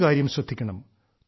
ഒരുകാര്യം ശ്രദ്ധിക്കണം